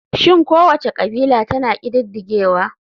Shin kowace kabila tana ƙididdigewa?